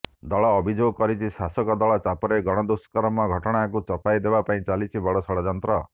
ଦଳ ଅଭିଯୋଗ କରିଛି ଶାସକ ଦଳ ଚାପରେ ଗଣଦୁଷ୍କର୍ମ ଘଟଣାକୁ ଚପାଇ ଦେବା ପାଇଁ ଚାଲିଛି ବଡ଼ ଷଡ଼୍ଯନ୍ତ୍ର